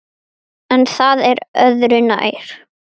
En það er öðru nær.